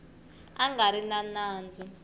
a nga ri na nandzu